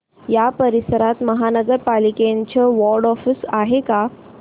या परिसरात महानगर पालिकेचं वॉर्ड ऑफिस आहे का